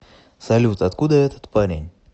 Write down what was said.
салют откуда этот парень